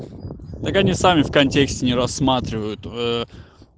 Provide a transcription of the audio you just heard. так они сами в контексте не рассматривают ээ